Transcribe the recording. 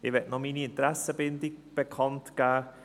Ich möchte noch meine Interessenbindung bekannt geben: